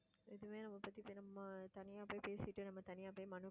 இதுவே நம்ம பத்தி நம்ம தனியா போய் பேசிட்டு நம்ம தனியா போய் மனு